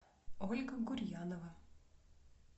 ольга гурьянова